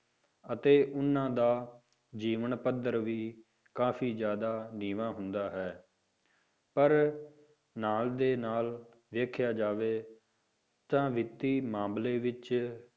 ਅਤੇ ਉਹਨਾਂ ਦਾ ਜੀਵਨ ਪੱਧਰ ਵੀ ਕਾਫ਼ੀ ਜ਼ਿਆਦਾ ਨੀਵਾਂ ਹੁੰਦਾ ਹੈ, ਪਰ ਨਾਲ ਦੇ ਨਾਲ ਦੇਖਿਆ ਜਾਵੇ ਤਾਂ ਵਿੱਤੀ ਮਾਮਲੇ ਵਿੱਚ